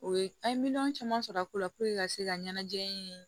O ye an ye miliyɔn caman sɔrɔ a ko la ka se ka ɲɛnajɛ in